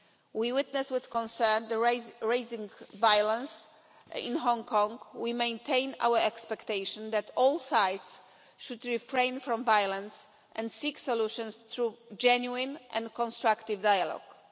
We witness with concern the rising violence in Hong Kong. We maintain our expectation that all sides should refrain from violence and seek solutions through genuine and constructive dialogue.